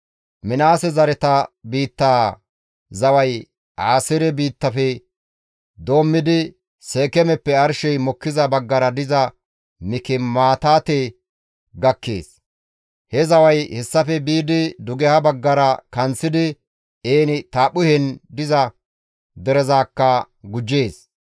Minaase zareta biittaa zaway Aaseere biittafe doommidi, Seekeemeppe arshey mokkiza baggara diza Mikimaataate gakkees. He zaway hessafe biidi dugeha baggara kanththidi En-Taaphphuhen diza derezakka gujjees.